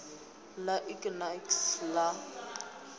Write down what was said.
ḽa ik na iks la